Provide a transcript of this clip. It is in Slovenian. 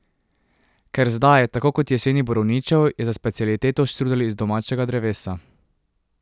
Ker zdaj, tako kot jeseni borovničev, je za specialiteto štrudelj z domačega drevesa.